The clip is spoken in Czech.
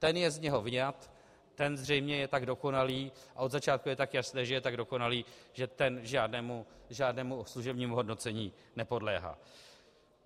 Ten je z něj vyňat, ten zřejmě je tak dokonalý a od začátku je tak jasné, že je tak dokonalý, že ten žádnému služebnímu hodnocení nepodléhá.